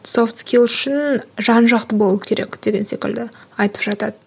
софт скилс үшін жан жақты болу керек деген секілді айтып жатады